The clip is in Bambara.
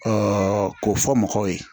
k'o fɔ mɔgɔw ye